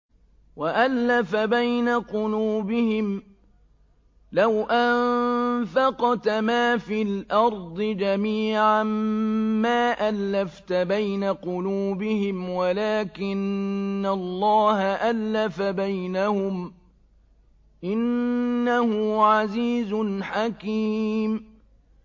وَأَلَّفَ بَيْنَ قُلُوبِهِمْ ۚ لَوْ أَنفَقْتَ مَا فِي الْأَرْضِ جَمِيعًا مَّا أَلَّفْتَ بَيْنَ قُلُوبِهِمْ وَلَٰكِنَّ اللَّهَ أَلَّفَ بَيْنَهُمْ ۚ إِنَّهُ عَزِيزٌ حَكِيمٌ